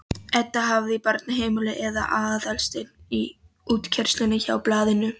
Edda hafði á barnaheimilinu eða Aðalsteinn í útkeyrslunni hjá Blaðinu.